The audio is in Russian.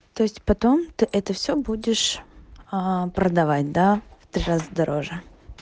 то есть потом ты это все будешь аа продавать да в три раза дороже